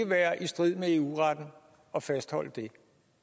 være i strid med eu retten at fastholde det